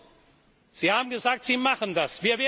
Gut, Sie haben gesagt, Sie machen